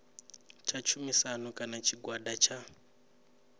tsha tshumisano kana tshigwada tsha